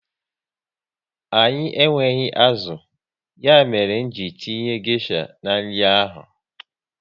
Anyị enweghị azụ, ya mere nji tinye gesha n'nri ahụ